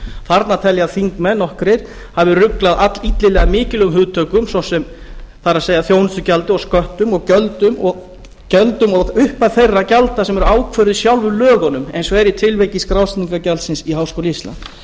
þarna tel ég að nokkrir þingmenn hafi ruglað allillilega mikilvægum hugtökum það er þjónustugjöldum og sköttum og gjöldum og upphæð þeirra gjalda sem eru ákvörðuð í sjálfum lögunum eins og er í tilviki skrásetningargjaldsins í háskóla íslands en